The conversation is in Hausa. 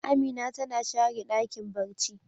Amina tana share Dakin barci.